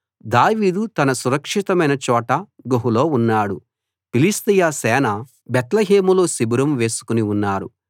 దావీదు తన సురక్షితమైన చోట గుహలో ఉన్నాడు ఫిలిష్తీయ సేన బేత్లెహేములో శిబిరం వేసుకుని ఉన్నారు